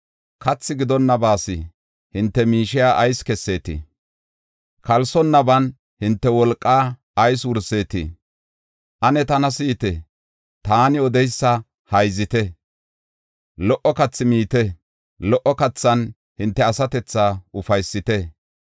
Kathi gidonnabaas hinte miishiya ayis kesseetii? Kalsonnaban hinte wolqaa ayis wurseetii? Ane tana si7ite, taani odeysa hayzite; lo77o kathaa miite; lo77o kathan hinte asatethaa ufaysite.